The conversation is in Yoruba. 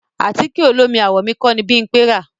Àtíkẹ̀ olómi àwọ̀ mi kọ́ ni Bímpẹ rà.